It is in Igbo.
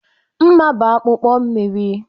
Mma bụ akpụkpọ miri